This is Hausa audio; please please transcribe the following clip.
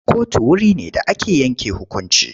Kotu wure ne da ake yanke hukunci.